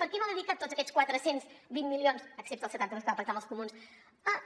per què no ha dedicat tots aquests quatre cents i vint milions excepte els setanta dos que va pactar amb els comuns a